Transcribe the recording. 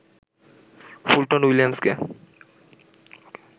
Fulton, উইলিয়ামসকে